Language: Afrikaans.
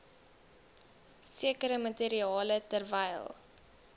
sekere materiale terwyl